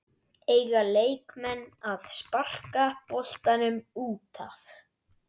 Eiga leikmenn að sparka boltanum útaf?